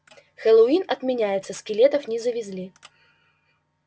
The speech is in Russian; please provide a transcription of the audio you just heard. хэллоуин отменяется скелетов не завезли